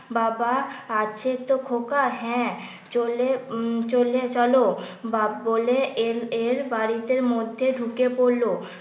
বাবা আছে তো খোকা হ্যাঁ চলে চলে চলো বাপ্ বলে এ এর বাড়িতে মধ্যে ঢুকে পড়লো।